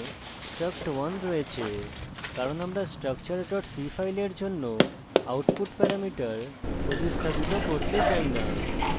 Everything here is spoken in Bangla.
এখানে struct1 আছে কারণ আমরা structure c file জন্য output প্যারামিটার প্রতিস্থাপিত করতে চাই না